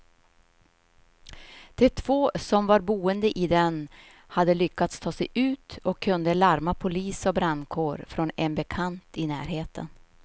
De två som var boende i den hade lyckats ta sig ut och kunde larma polis och brandkår från en bekant i närheten.